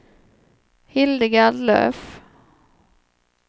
Hildegard Löf